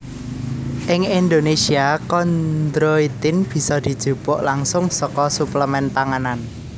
Ing Indonesia kondroitin bisa dijupuk langsung saka suplemen panganan